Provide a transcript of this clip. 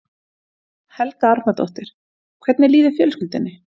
Helga Arnardóttir: Hvernig líður fjölskyldunni?